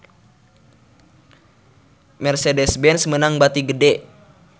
Mercedez-Benz meunang bati gede